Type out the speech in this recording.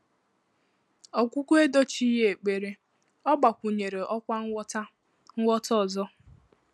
Ọ́gwụ́gwọ́ èdóchíghị́ ékpèré; ọ́ gbàkwụ̀nyèrè ọ́kwá nghọ́tà nghọ́tà ọ́zọ́.